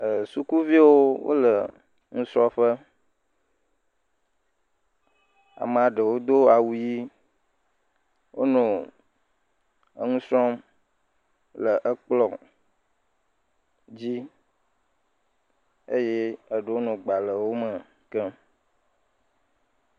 Sukuviwo le nusrɔƒe. Amea ɖewo Do awu ɣi. Wonɔ nu srɔm le ekplɔ dzi eye eɖewo nɔ gbalẽwo me kem.